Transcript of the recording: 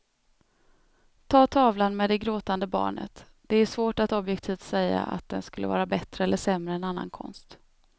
Ta tavlan med det gråtande barnet, det är svårt att objektivt säga att den skulle vara bättre eller sämre än annan konst.